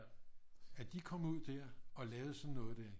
At de kom ud der og lavede sådan noget der